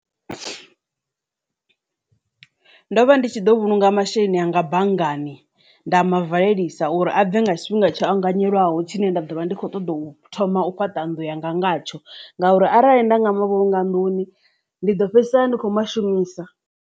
Ndo vha ndi tshi ḓo vhulunga masheleni anga banngani nda mavalelisa uri a bve nga tshifhinga tsho anganyeliwaho tshine nda ḓovha ndi kho ṱoḓa u thoma u fhaṱa nnḓu yanga ngatsho ngauri arali nda nga mavhulunga nḓuni ndi ḓo fhedzisela ndi khou mashumisa.